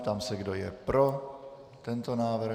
Ptám se, kdo je pro tento návrh?